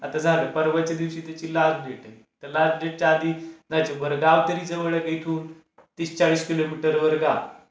आता झालं परवाच्या दिवशी त्याची लास्ट डेट आहे. त लास्ट डेटच्या आधी आता, बरं गाव तरी जवळ आहे का इथून? तीस चाळीस किलोमीटरवर गाव आहे.